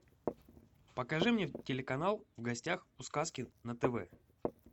покажи мне телеканал в гостях у сказки на тв